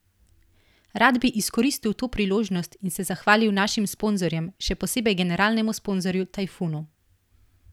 Rad bi izkoristil to priložnost in se zahvalil našim sponzorjem, še posebej generalnemu sponzorju Tajfunu.